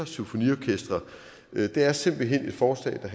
symfoniorkestre det er simpelt hen et forslag der